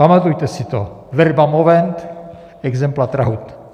Pamatujte si to: Verba movent, exempla trahunt.